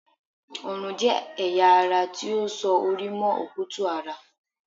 Ọrùn jẹ́ ẹ̀yà ara ti ó so orí mọ́ okutu-ara